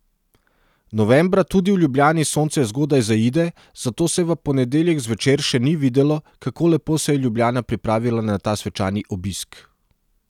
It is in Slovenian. Novembra tudi v Ljubljani sonce zgodaj zaide, zato se v ponedeljek zvečer še ni videlo, kako lepo se je Ljubljana pripravila na ta svečani obisk.